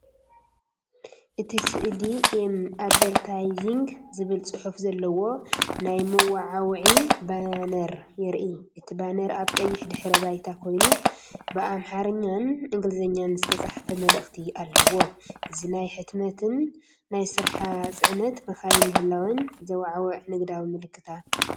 እቲ ስእሊ “ኤም ኣድቨርታይዚንግ” ዝብል ጽሑፍ ዘለዎ ናይ መወዓውዒ ባነር የርኢ። እቲ ባነር ኣብ ቀይሕ ድሕረ ባይታ ኮይኑ ብኣምሓርኛን እንግሊዝኛን ዝተጻሕፈ መልእኽቲ ኣለዎ። እዚ ናይ ሕትመትን ናይ ስራሕ ጽዕነት መካይን ምህላወን ዘወዓውዕ ንግዳዊ ምልክታ እዩ።